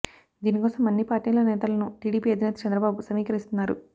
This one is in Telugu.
దీని కోసం అన్ని పార్టీల నేతలను టీడీపీ అధినేత చంద్రబాబు సమీకరిస్తున్నారు